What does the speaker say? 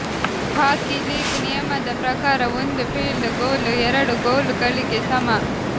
ಹಾಕಿ league ನಿಯಮದ ಪ್ರಕಾರ ಒಂದು ಫೀಲ್ಡ್ ಗೋಲು ಎರಡು ಗೋಲು ಗಳಿಗೆ ಸಮ